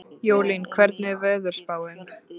Jólín, hvernig er veðurspáin?